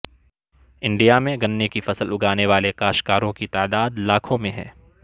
India میں گنے کی فصل اگانے والے کاشکاروں کی تعداد لاکھوں میں ہے